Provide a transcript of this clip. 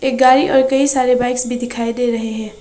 एक गाड़ी और कई सारे बाइक्स भी दिखाई दे रहे हैं।